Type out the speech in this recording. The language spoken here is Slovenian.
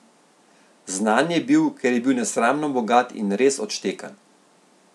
Znan je bil, ker je bil nesramno bogat in res odštekan.